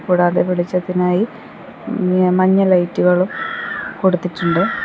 കൂടാതെ വെളിച്ചത്തിനായി മഞ്ഞ ലൈറ്റുകളും കൊടുത്തിട്ടുണ്ട്.